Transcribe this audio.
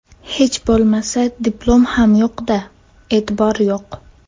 Hech bo‘lmasa diplom ham yo‘qda, e’tibor yo‘q.